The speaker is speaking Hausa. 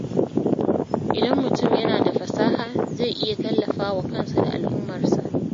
Idan mutum yana da fasaha, zai iya tallafa wa kansa da al’ummarsa.